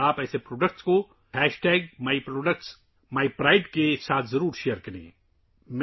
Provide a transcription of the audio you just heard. آپ کو ایسے پروڈکٹس کو #مائی پروڈکٹ مائی پرائڈکے ساتھ شیئر کرنا چاہیے